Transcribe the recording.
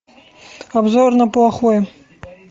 обзор на плохое